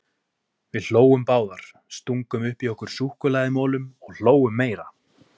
Við hlógum báðar, stungum upp í okkur súkkulaðimolum og hlógum meira.